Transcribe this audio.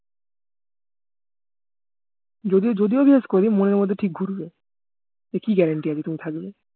যদি যদিও বিশ্বাস করি মনের মধ্যে ঠিক ঘুরবে যে কি guarantee আছে তুমি থাকবে